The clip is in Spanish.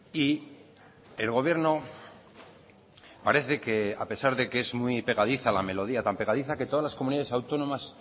y el gobierno parece que a pesar de que es muy pegadiza la melodía tan pegadiza que todas las comunidades autónomas